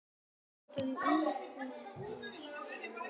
Ég spilaði fyrir spóann.